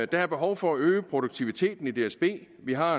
der er behov for at øge produktiviteten i dsb vi har